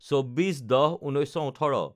২৪/১০/১৯১৮